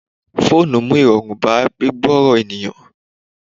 Fóònù mú irọrun bá gbigburo ènìyàn.